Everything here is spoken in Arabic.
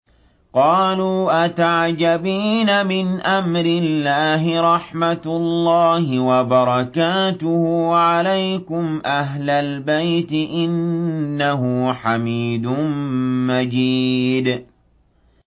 قَالُوا أَتَعْجَبِينَ مِنْ أَمْرِ اللَّهِ ۖ رَحْمَتُ اللَّهِ وَبَرَكَاتُهُ عَلَيْكُمْ أَهْلَ الْبَيْتِ ۚ إِنَّهُ حَمِيدٌ مَّجِيدٌ